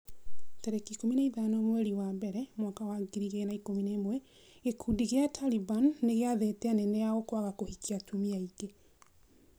tarĩki ikũmi na ithano mweri wa mbere mwaka wa ngiri igĩrĩ na ikũmi na ĩmwe gĩkundi gĩa Taliban nĩgĩathĩte anene ao kwaga kũhikia atumia aingĩ.